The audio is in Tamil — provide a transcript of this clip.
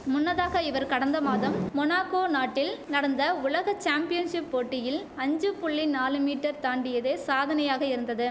முன்னதாக இவர் கடந்த மாதம் மொனாகோ நாட்டில் நடந்த உலக சாம்பியன்ஷிப் போட்டியில் அஞ்சு புள்ளி நாலு மீட்டர் தாண்டியதே சாதனையாக இருந்தது